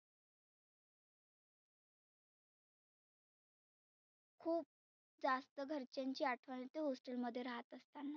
खुप जास्त घरच्यांची आठवन येते hostel मध्ये रहात असताना.